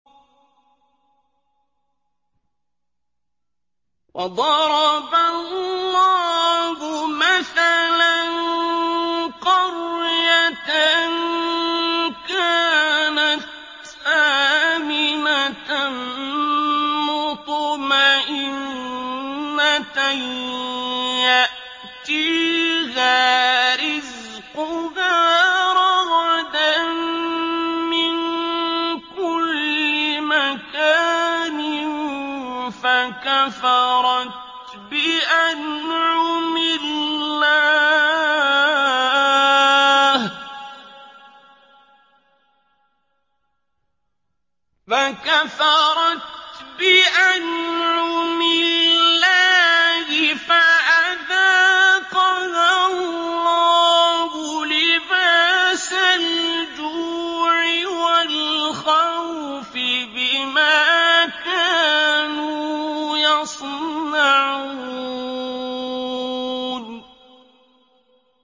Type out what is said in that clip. وَضَرَبَ اللَّهُ مَثَلًا قَرْيَةً كَانَتْ آمِنَةً مُّطْمَئِنَّةً يَأْتِيهَا رِزْقُهَا رَغَدًا مِّن كُلِّ مَكَانٍ فَكَفَرَتْ بِأَنْعُمِ اللَّهِ فَأَذَاقَهَا اللَّهُ لِبَاسَ الْجُوعِ وَالْخَوْفِ بِمَا كَانُوا يَصْنَعُونَ